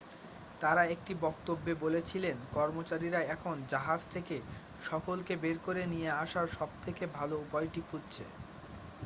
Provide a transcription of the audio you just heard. তারা একটি বক্তব্যে বলেছিলেন কর্মচারীরা এখন জাহাজ থেকে সকলকে বের করে নিয়ে আসার সবথেকে ভালো উপায়টি খুঁজছে